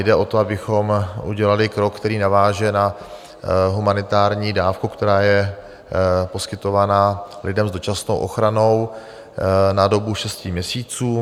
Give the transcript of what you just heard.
Jde o to, abychom udělali krok, který naváže na humanitární dávku, která je poskytována lidem s dočasnou ochranou na dobu šesti měsíců.